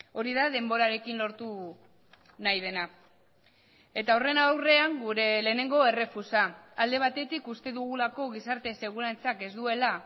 hori da denborarekin lortu nahi dena eta horren aurrean gure lehenengo errefusa alde batetik uste dugulako gizarte segurantzak ez duela